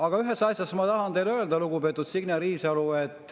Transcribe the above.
Aga ühte asja ma tahan teile veel öelda, lugupeetud Signe Riisalo.